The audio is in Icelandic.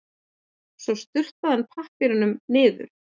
Svo sturtaði hann pappírnum niður.